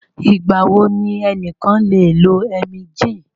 Ìgbà wo ni ẹnìkan lè lo Emgyl?